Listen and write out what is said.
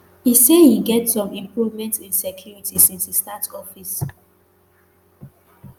e say e get some improvement in security since e start office